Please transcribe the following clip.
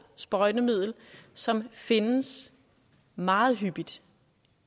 sprøjtemiddel som findes meget hyppigt